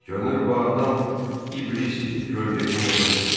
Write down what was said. Görünür bu adam iblisdir, kölgə kimi yoxa çıxdı.